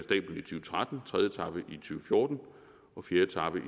tretten tredje etape og fjorten og fjerde etape